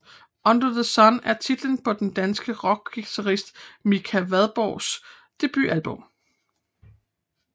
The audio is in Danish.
Under the Sun er titlen på den danske rockguitarist Mika Vandborgs debutalbum